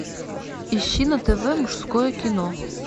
ищи на тв мужское кино